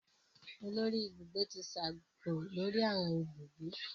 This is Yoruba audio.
Olórí Ibùgbé ti sábó lórí awọn ibùgbé.